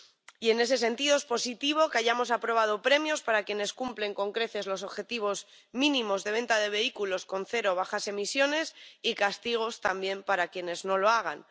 Y, en ese sentido, es positivo que hayamos aprobado premios para quienes cumplen con creces los objetivos mínimos de venta de vehículos con cero o bajas emisiones, y castigos, también, para quienes no lo hagan.